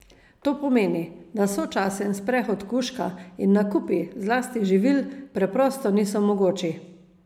To pomeni, da sočasen sprehod kužka in nakupi, zlasti živil, preprosto niso mogoči.